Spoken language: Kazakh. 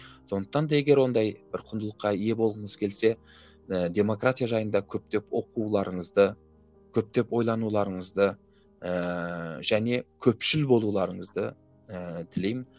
сондықтан да егер ондай бір құндылыққа ие болғыңыз келсе ыыы демократия жайында көптеп оқуларыңызды көптеп ойлануларыңызды ыыы және көпшіл болуларыңызды ыыы тілеймін